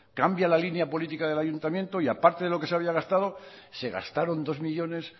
cambia la línea política del ayuntamiento y aparte de lo que se había gastado se gastaron dos millónes